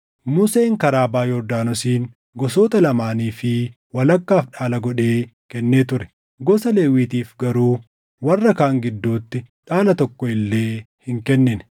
Museen karaa baʼa Yordaanosiin gosoota lamaanii fi walakkaaf dhaala godhee kennee ture; gosa Lewwiitiif garuu warra kaan gidduutti dhaala tokko illee hin kennine;